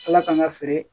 Ala k'an ka feere